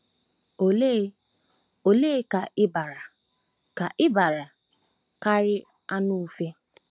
Òle ole ka i bara ka i bara kari anu-ufe? ”